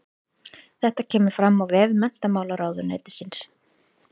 Þetta kemur fram á vef menntamálaráðuneytisins